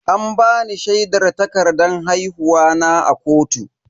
An bani shaidar takardan haihuwa na a kotu.